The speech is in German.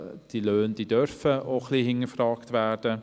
Die Löhne dürfen hinterfragt werden.